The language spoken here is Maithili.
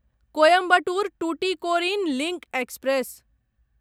Coimbatore Tuticorin link express